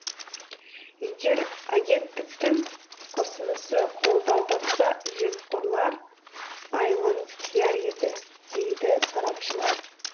егер агенттіктің ұсынысы қолдау тапса жемқорлар айылын тияр еді дейді сарапшылар